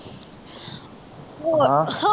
ਹਾਂ ਹੋਰ